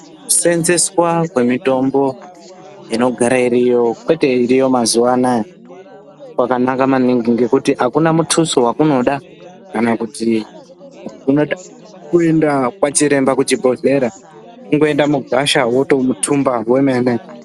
Kuseenzeswa kwemitombo inogara iriyo kwete iriyo mazuwaanaya kwakanaka maningi ngekuti akuna muthuso wakunoda kana kuti unoda kuenda kwachiremba kuchibhedhlera kungoenda mugwasha wotothumba wemene